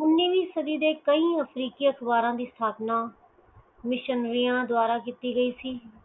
ਉਣਵੀ ਸੱਦੀ ਦੇ ਕਈ ਹੋਰ ਅਫਰੀਕੀ ਅਖਬਾਰਾਂ ਦੀ ਸਥਾਪਨਾ ਮਿਸ਼ੰਵੇਯਾ ਦੁਆਰਾ ਕਿੱਤੀ ਗਈ